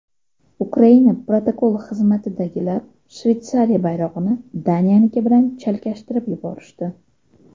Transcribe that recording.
Ukraina protokol xizmatidagilar Shveysariya bayrog‘ini Daniyaniki bilan chalkashtirib yuborishdi.